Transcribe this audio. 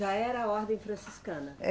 Já era a ordem franciscana? É